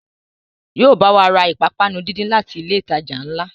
Yóò bá wa ra ìpápánu díndín láti ilé ìtajà ńlá